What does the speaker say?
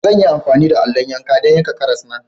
Zan yi amfani da allo yanka don yanka karas na.